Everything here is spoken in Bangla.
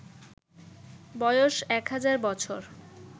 বয়স ১০০০ বছর